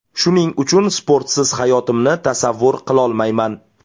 Shuning uchun sportsiz hayotimni tasavvur qilolmayman.